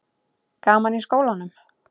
Gaman í skólanum?